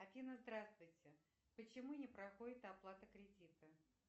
афина здравствуйте почему не проходит оплата кредита